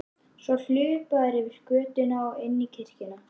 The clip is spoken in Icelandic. Svo hlupu þær yfir götuna og inn í kirkjuna.